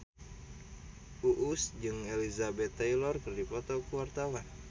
Uus jeung Elizabeth Taylor keur dipoto ku wartawan